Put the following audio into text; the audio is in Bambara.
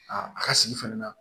A ka sigi fɛnɛ na